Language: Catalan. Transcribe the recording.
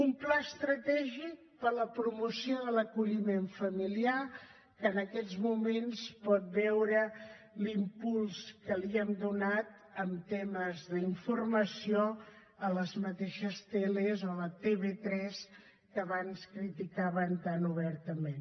un pla estratègic per a la promoció de l’acolliment familiar que en aquests moments pot veure l’impuls que hi hem donat en temes d’informació a les mateixes teles o a la tv3 que abans criticaven tan obertament